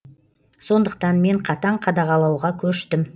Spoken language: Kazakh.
сондықтан мен қатаң қадағалауға көштім